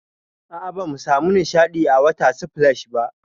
A'a, bamu samu nishaɗi a water splash ba.